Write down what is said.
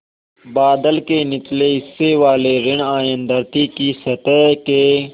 बादल के निचले हिस्से वाले ॠण आयन धरती की सतह के